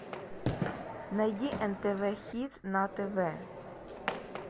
найди нтв хит на тв